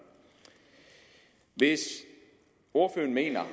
hvis ordføreren mener